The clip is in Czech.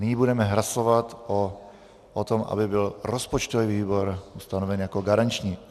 Nyní budeme hlasovat o tom, aby byl rozpočtový výbor ustanoven jako garanční.